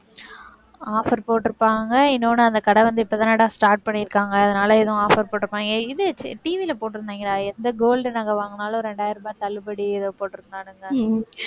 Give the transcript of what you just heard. offer போட்டிருப்பாங்க, இன்னொன்னு அந்த கடை வந்து இப்பதானடா start பண்ணிருக்காங்க, அதனால எதுவும் offer போட்டிருப்பாங்க, இது TV ல போட்டு எந்த gold நாங்க வாங்கினாலும், இரண்டாயிரம் ரூபாய் தள்ளுபடி, ஏதோ போட்டிருந்தானுங்க.